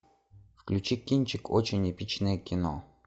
включи кинчик очень эпичное кино